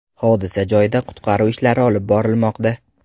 Hodisa joyida qutqaruv ishlari olib borilmoqda.